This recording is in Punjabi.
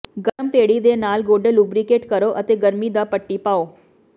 ਗਰਮ ਭੇੜੀ ਦੇ ਨਾਲ ਗੋਢੇ ਲੁਬਰੀਕੇਟ ਕਰੋ ਅਤੇ ਗਰਮੀ ਦਾ ਪੱਟੀ ਪਾਓ